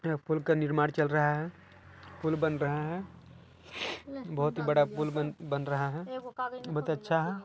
यहाँ पुल का निर्माण चल रहा है पुल बन रहा है बहुत ही बड़ा पुल बन रहा है बहुत अच्छा है।